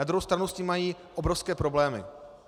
Na druhou stranu s tím mají obrovské problémy.